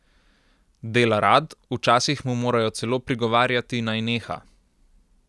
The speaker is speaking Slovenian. Dela rad, včasih mu morajo celo prigovarjati, naj neha.